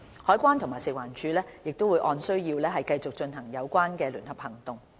海關及食環署會按需要繼續進行有關聯合行動。